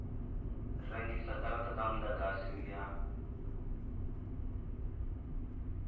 rengisa garata dza mudagasi ya